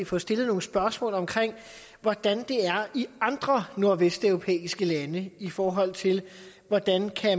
få stillet nogle spørgsmål om hvordan det er i andre nordvesteuropæiske lande i forhold til hvordan